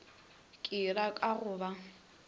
ke ra ka go ba